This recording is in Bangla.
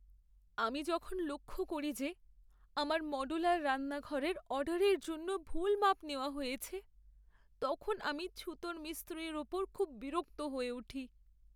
আমি যখন লক্ষ করি যে আমার মডুলার রান্নাঘরের অর্ডারের জন্য ভুল মাপ নেওয়া হয়েছে, তখন আমি ছুতোর মিস্ত্রির উপর খুব বিরক্ত হয়ে উঠি।